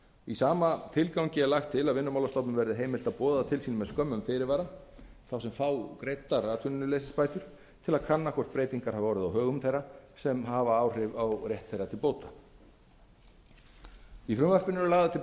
í sama tilgangi er lagt til að vinnumálastofnun verði heimilt að boða til sín með skömmum fyrirvara þá sem fá greiddar atvinnuleysisbætur til að kanna hvort breytingar hafi orðið á högum þeirra sem hafa áhrif á rétt þeirra til bóta innheimta vinnumálastofnunar á ofgreiddum bótum í frumvarpinu eru lagðar til